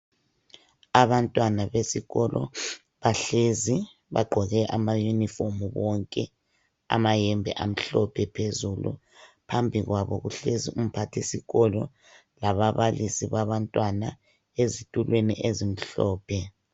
Abantwana besikolo bahlezi bagqoke ama yunifomu bonke, amayembe amhlophe phezulu, phambi kwabo kuhlezi umphathisikolo, lababalisi babantwana, ezitulweni ezimhlophe.